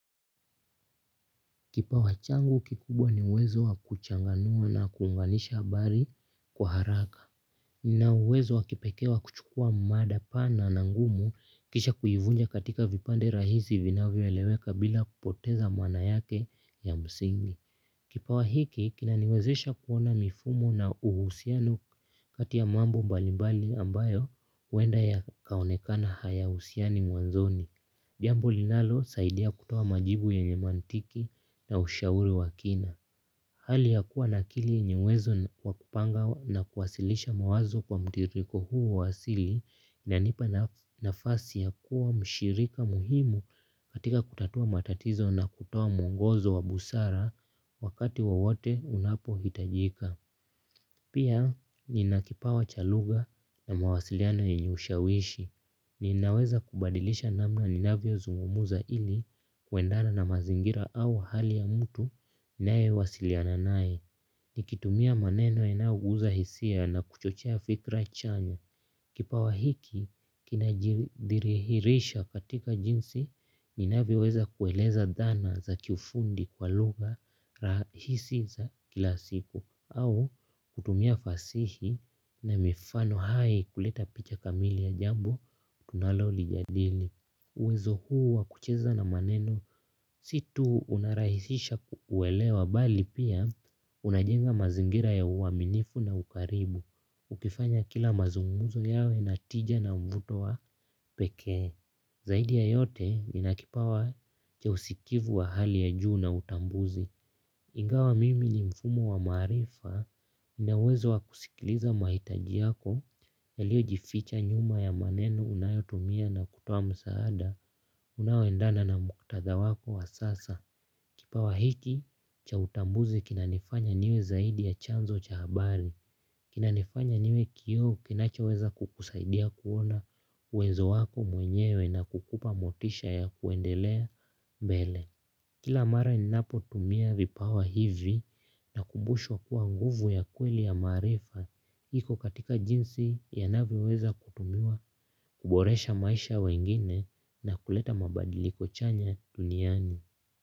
Kipawa changu kikubwa ni uwezo wakuchanganua na kuunganisha habari kwa haraka. Nnauwezo wakipekee wa kuchukua mada pana na ngumu kisha kuivunja katika vipande rahizi vinavyoeleweka bila kupoteza maana yake ya msingi. Kipawa hiki kinaniwezesha kuona mifumo na uhusiano kati ya mambo mbali mbali ambayo wenda yakaonekana hayausiani mwanzoni. Jambo linalosaidia kutoa majibu yenye mantiki na ushauri wakina. Hali ya kuwa na akili yenye uwezo wakupanga na kuwasilisha mawazo kwa mtiriko huu waasili inanipa nafasi ya kuwa mshirika muhimu katika kutatua matatizo na kutoa mwongozo wa busara wakati wowote unapo hitajika. Pia ninakipawa cha lugha na mawasiliano yenye ushawishi. Ninaweza kubadilisha namna ninavyo zungumuza ili kwendana na mazingira au hali ya mutu nae wasiliana nae. Nikitumia maneno inayo guza hisia na kuchochia fikra chanya kipawa hiki kina jirithirihirisha katika jinsi ninavyo weza kueleza dhana za kifundi kwa lugha rahisi za kila siku au kutumia fasihi na mifano hai kuleta picha kamili ya jambo tunalolijadili. Uwezo huu wa kucheza na maneno situu unarahisisha kuelewa bali pia unajenga mazingira ya uaminifu na ukaribu ukifanya kila mazunguzo yawe na tija na mvuto wa pekee. Zaidi ya yote ninakipawa cha usikivu wa hali ya juu na utambuzi. Ingawa mimi ni mfumo wa maarifa ninawezo wa kusikiliza mahitaji yako yaliojificha nyuma ya maneno unayotumia na kutoa msaada unaoendana na muktadha wako wa sasa. Kipawa hiki cha utambuzi kinanifanya niwe zaidi ya chanzo cha habari. Kinanifanya niwe kioo kinachoweza kukusaidia kuona uwezo wako mwenyewe na kukupa motisha ya kuendelea mbele. Kila mara ninapo tumia vipawa hivi nakubushwa kuwa nguvu ya kweli ya maarifa hiko katika jinsi ya navyo weza kutumiwa kuboresha maisha ya wengine na kuleta mabadiliko chanya duniani.